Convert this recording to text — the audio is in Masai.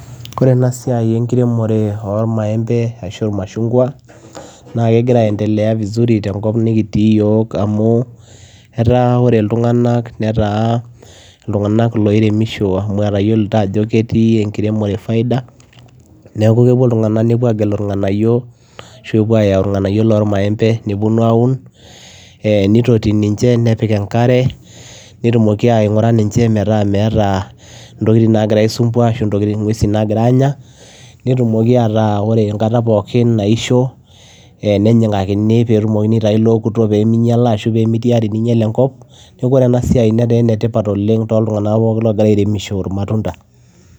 Oree enaa siai enkiremoree oo mayembe machungwa naa kegiraa andelea vizuri tenkop nikitii iyiok amuu Ore itunganak netaa oloiremishoo amuu etayiolita ajo ketii enkiremoree faida neeku kepuo ilntunganak negeluu inganayio nepuo aaun nitotii ninje metaa meetaa ntokitin nagiraa aisumbua netumokii ainguraa metaa oree enkata pookin naishoo nitayuuni ilookuto metaa mandala neeku etaa ena siai ene tipat oleng